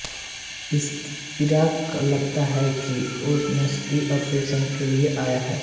इरा को लगता है कि वो नसबंदी ऑपरेशन के लिए आया है